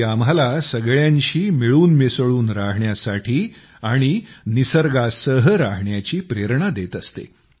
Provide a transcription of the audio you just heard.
ती आम्हाला सगळ्यांशी मिळून मिसळून रहाण्यासाठी आणि निसर्गासह रहाण्याची प्रेरणा देंत असते